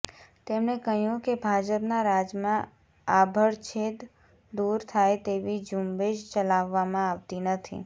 તેમણે કહ્યું કે ભાજપના રાજમાં આભડછેડ દૂર થાય તેવી ઝૂંબેશ ચલાવવામાં આવતી નથી